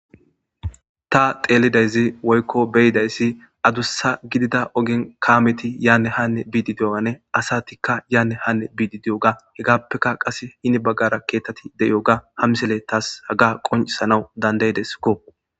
Ta xeelidayzi woykko beyidayssi adussa gidida ogin kaameti yaanne hanne biidi diyogane asatikka yaanne hanne biidi diyoga hegappeka qas hini baggara keethtati de'iyoga hamsele taas haga qoncisanaw dandaydeskko.